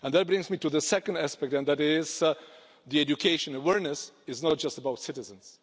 That brings me to the second aspect, and that is that education awareness is not just about citizens